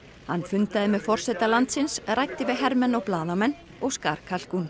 hann fundaði með forseta landsins ræddi við hermenn og blaðamenn og skar